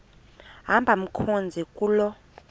hamba mkhozi kuloo